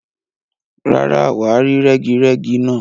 Rárá, wà á rí rẹ́girẹ́gi náà.